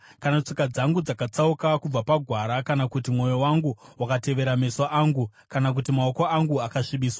kana tsoka dzangu dzakatsauka kubva pagwara, kana kuti mwoyo wangu wakatevera meso angu, kana kuti maoko angu akasvibiswa,